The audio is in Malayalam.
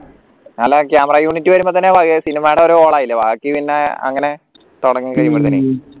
നല്ല camera unit വരുമ്പതന്നെ cinema ടെ ഒരു ഓളമായില്ലേ ബാക്കി പിന്നെ അങ്ങനെ തുടങ്ങി